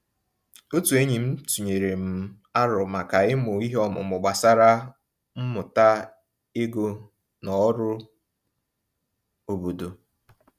Otu enyi m tụnyere m aro maka imụ ihe ọmụmụ gbasara mmụta ego na ọrụ obodo.